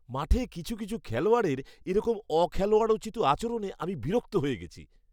মাঠে কিছু কিছু খেলোয়াড়ের এরকম অখেলোয়াড়োচিত আচরণে আমি বিরক্ত হয়ে গেছি।